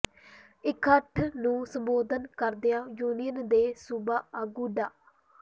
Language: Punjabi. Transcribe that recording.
ਇਕੱਠ ਨੂੰ ਸੰਬੋਧਨ ਕਰਦਿਆਂ ਯੂਨੀਅਨ ਦੇ ਸੂਬਾ ਆਗੂ ਡਾ